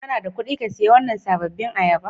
Kana da kuɗi ka siya wannan sabobin ayaba?